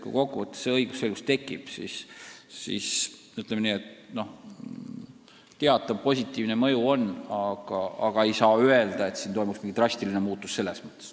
Kui kokkuvõttes tekib õigusselgus, siis kindlasti teatav positiivne mõju on, aga ei saa öelda, et toimuks mingi drastiline muutus.